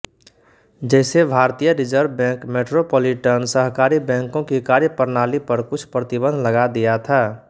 जैसे भारतीय reserve bank metropolitan सहकारी बैंकों की कार्यप्रणाली पर कुछ प्रतिबंध लगा दिया था